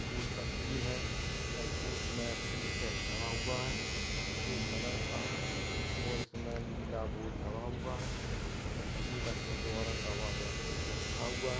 पुल का सीन है एयरपोर्ट में टीन से लगा हुआ है सफेद कलर का है और इसमे नीला बोर्ड लगा हुआ है इसमे सफेद अक्षरों औरंगाबाद लिखा हुआ है।